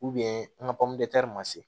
an ka ma se